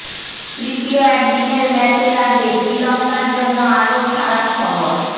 তৃতীয় একদিনের ম্যাচের আগে শ্রীলঙ্কার জন্য আরও খারাপ খবর